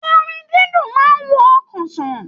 Orin didun máa n wo ọkàn sàn.